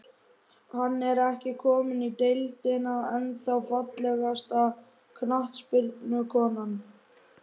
Hann er ekki kominn í deildina, ennþá Fallegasta knattspyrnukonan?